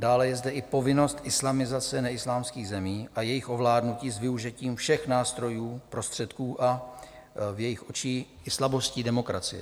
Dále je zde i povinnost islamizace neislámských zemí a jejich ovládnutí s využitím všech nástrojů, prostředků a v jejich očích i slabosti demokracie.